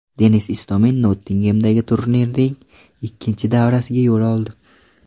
Denis Istomin Nottingemdagi turnirning ikkinchi davrasiga yo‘l oldi.